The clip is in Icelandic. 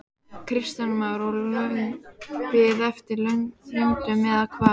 Kristján Már: Og löng bið eftir löndun eða hvað?